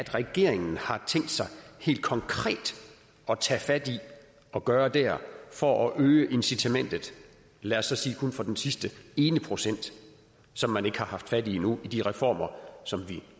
regeringen tænkt sig helt konkret at tage fat i og gøre der for at øge incitamentet lad os så sige kun for den sidste ene procent som man ikke har haft fat i endnu i de reformer som vi